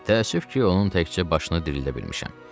Təəssüf ki, onun təkcə başını dirildə bilmişəm.